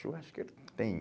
Churrasqueiro tem.